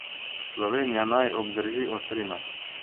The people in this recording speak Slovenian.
Slovenija naj obdrži ostrino.